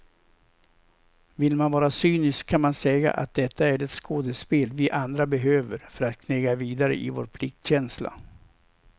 Vill man vara cynisk kan man säga att detta är det skådespel vi andra behöver för att knega vidare i vår pliktkänsla.